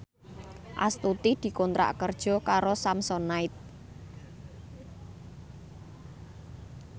Astuti dikontrak kerja karo Samsonite